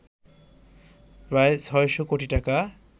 প্রায় ৬শ কোটি টাকা